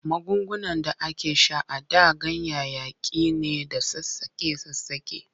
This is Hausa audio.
Magungunan da ake sha a da ganyayyaki ne da sassaƙe-sassaƙe.